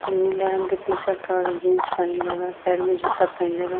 नीला रंग के टी-शर्ट और जीन्स पहिनले बा। पैर में जूता पहिनले बा।